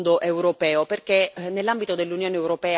E perché è importante anche un fondo europeo?